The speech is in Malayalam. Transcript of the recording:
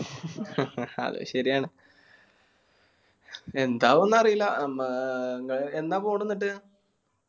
അത് ശെരിയാണ്. എന്താവുന്നു അറിയില്ല ഏർ എന്നാ പോണ് എന്നിട്ട്?